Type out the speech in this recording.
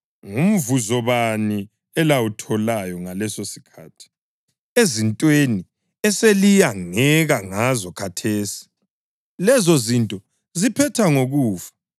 Ngumvuzo bani elawutholayo ngalesosikhathi ezintweni eseliyangeka ngazo khathesi? Lezozinto ziphetha ngokufa!